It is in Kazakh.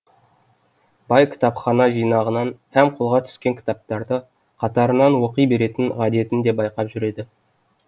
бай кітапхана жинағанын һәм қолға түскен кітаптарды қатарынан оқи беретін ғадетін де байқап жүреді